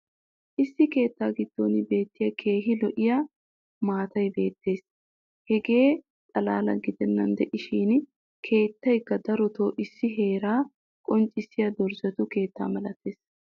issi keettaa giddon beettiya keehi lo'iya maatay beettees. hegaa xalaala giddenan diishshin keettaykka darotoo issi heeraa qonccissiya dorzzetu keettaa malatees.